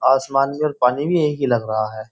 आसमान में पानी भी एक ही लग रहा है।